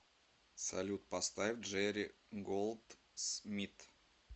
салют поставь джери голдсмит